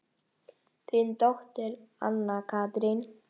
Þín dóttir, Anna Katrín.